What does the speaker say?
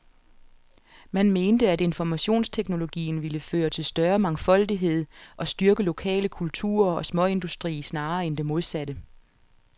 Man mente, at informationsteknologien ville føre til større mangfoldighed og styrke lokale kulturer og småindustri snarere end det modsatte.